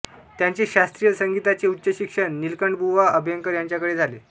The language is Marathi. त्यांचे शास्त्रीय संगीताचे उच्च शिक्षण नीलकंठबुवा अभ्यंकर यांच्याकडे झाले